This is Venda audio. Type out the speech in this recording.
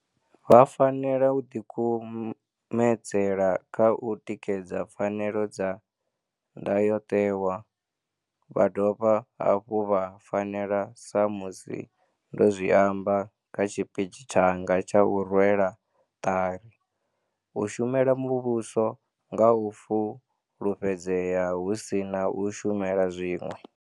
Vha fanela u ḓikumedzela kha u tikedza pfanelo dza Ndayotewa, vha dovha hafhu vha fanela, sa musi ndo zwi amba kha tshipitshi tshanga tsha u rwela ṱari, u shumela muvhuso nga u fu lufhedzea hu si na u shumela zwiṅwe.